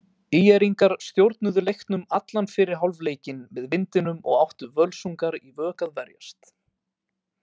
ÍR-ingar stjórnuðu leiknum allan fyrri hálfleikinn með vindinum og áttu Völsungar í vök að verjast.